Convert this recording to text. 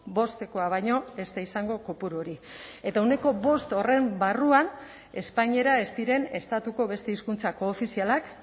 bostekoa baino ez da izango kopuru hori eta ehuneko bost horren barruan espainera ez diren estatuko beste hizkuntza koofizialak